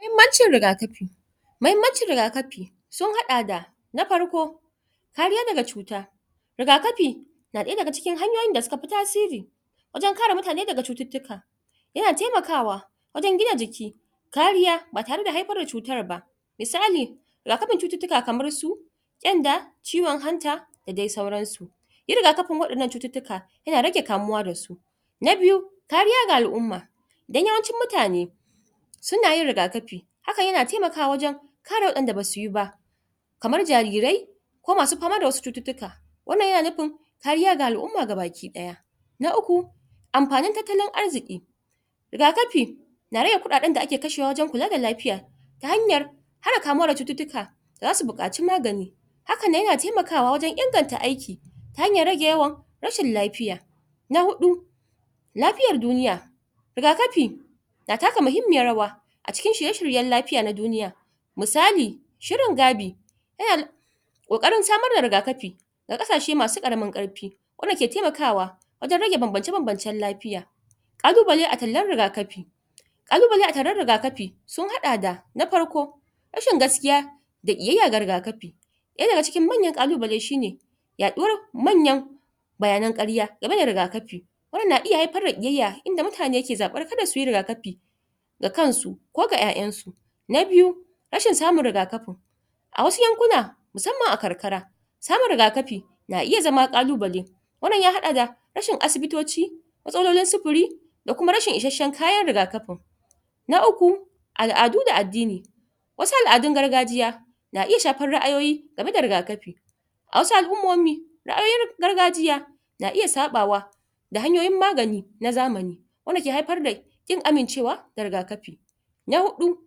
Mahimancin rigakafi mahimancin rigakafi sun hada da na farko kariyya daga cuta rigakafi na daya da ga cikin hanyoyin da su ka fi tasiri wajen kare mutane da ga cututuka ya na taimakawa wajen gina jiki kariyya ba tare da haifar da cutar ba misali rigakafin cututuka kamar su tsenda ciwon hanta da dai sauran su yin rigakafin wadannan cututuka ya na rage kamuwa da su na biyu kariyya ga al'uma dan yawancin mutane su na yin rigakafi haka ya na taimakawa wajen kare wa'en da ba su yi kamar jarirai ko ma su fama da wasu cututuka wannan ya na nufin kariyya ga al'uma ga baki daya na uku amfanin tattalin arziki rigakafi na rage kudaden da ake kashewa wajen kula da lafiya ta hanyar hana kamuwa da cututuka za su bukaci magani haka nan, ya na taimakawa wajen inganta aiki ta hanyar rage yawan rashin lafiya na hudu lafiyar duniya rigakafi na taka muhimiyar rawa a cikin shirye shiryen lafiya na duniya misali shirin gabi ya na da kokarin samar da rigakafi da ga qasashe masu karamin karfi wanda ke taimakawa wajen rage banbance banbancen lafiya qalubale a tallan rigakafi qalubale a tallan rigakafi sun hada da na farko rashin gaskiya da qiyaya ga rigakafi daya da ga cikin manyan qaqubale shi ne yaduwar manyan bayanen karya game ga rigakafi wannan na iya haifar da qiyaya inda mutane ke zabura, ka da su yi rigakafi da kan su ko ga 'yayan su na biyu rashin samun rigakafi a wasu yankuna masamman a qarkara samun rigakafi na iya zama qalubale wannan ya hada da rashin asibitoci matsalolin supuri da kuma rashin isashen kayan rigakafin na uku al'adu da adini wasu al'adun gargajiya na iya shafar ra'ayoyi game da rigakafi a wasu al'umomi ra'ayoyin gargajiya na iya sapawa da hanyoyin magani na zamani wanda ke haifar da kin amincewa ga rigakafi na hudu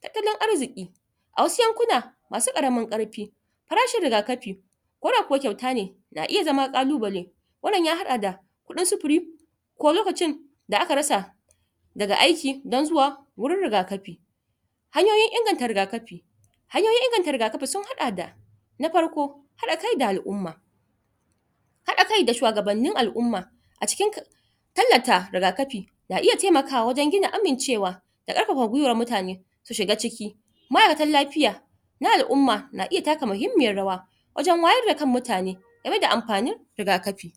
tattalin arziki a wasu yankuna masu karamin karfi farashin rigakafi ko da kau kyauta ne na iya zama qalubale wannan ya hada da kudin supiri ko lokacin da aka rasa da ga aiki, dan zuwa wurin rigakafi hanyoyin inganta rigakafi hanyoyin inganta rigakafi, sun hada da na farko hada kai da al'uma hada kai da shuwagabanin al'uma a cikin tallata rigakafi na iya taimakawa wajen gina amincewa da karfafa gwiwan mutane su shiga ciki ma'aikatan lafiya na al'uma na iya taka muhimiyar rawa wajen wayar da kan mutane game da amfanin rigakafi